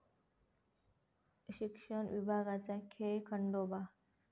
शिक्षण विभागाचा खेळखंडोबा